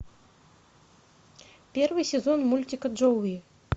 первый сезон мультика джоуи